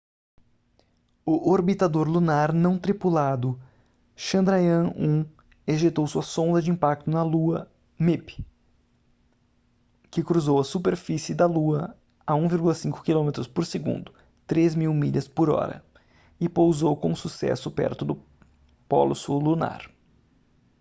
o orbitador lunar não tripulado chandrayaan-1 ejetou sua sonda de impacto da lua mip que cruzou a superfície da lua a 1,5 km por segundo 3 mil milhas por hora e pousou com sucesso perto do polo sul lunar